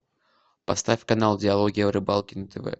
поставь канал диалоги о рыбалке на тв